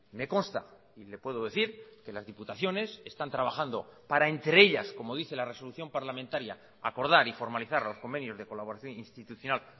me consta y le puedo decir que las diputaciones están trabajando para entre ellas como dice la resolución parlamentaria acordar y formalizar los convenios de colaboración institucional